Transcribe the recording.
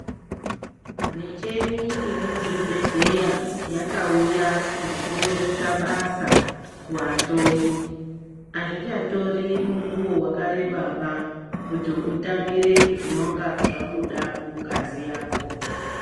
Micheni iri muzvibhedhlera yakauya ngekurerutsa basa kuvahloyi hazvichatori mukuwo wakareba kuti utambire zvinonge zvabuda mungazi yako.